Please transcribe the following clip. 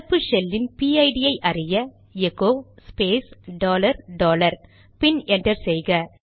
நடப்பு ஷெல் இன் பிஐடிPID ஐ அறிய எகோ ஸ்பேஸ் டாலர் டாலர் பின் என்டர் செய்க